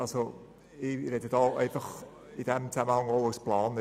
Ich spreche hier als Planer.